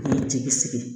Jeli sigi